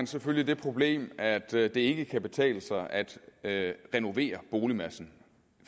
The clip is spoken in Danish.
selvfølgelig det problem at det det ikke kan betale sig at at renovere boligmassen